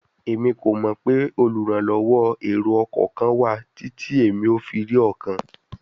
Emi ko mọ pe oluranlọwọ ero-ọkọ kan wa titi emi o fi ri ọkan